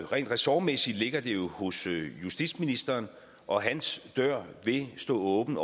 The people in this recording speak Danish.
rent ressortmæssigt ligger det jo hos justitsministeren og hans dør vil stå åben